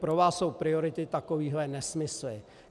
Pro vás jsou priority takovéhle nesmysly.